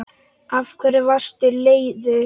Af hverju varstu leiður?